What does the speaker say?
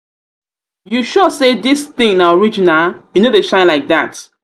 you sure say this thing na thing na original e no dey shine like that